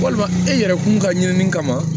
Walima e yɛrɛ kun ka ɲinini kama